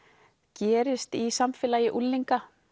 gerist í samfélagi unglinga